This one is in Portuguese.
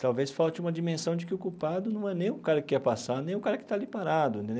Talvez falte uma dimensão de que o culpado não é nem o cara que ia passar, nem o cara que está ali parado.